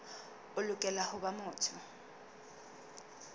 o lokela ho ba motho